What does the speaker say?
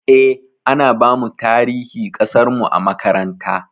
Eh, ana bamu tarihi ƙasarmu a makaranta.